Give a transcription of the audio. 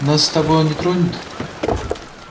нас с тобой он не тронет